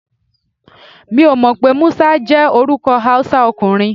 Mi ò mọ̀ pé Musa jẹ́ orúkọ Hausa ọkùnrin.